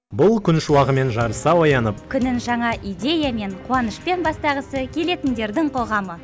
бұл күн шуағымен жарыса оянып күнін жаңа идеямен қуанышпен бастағысы келетіндердің қоғамы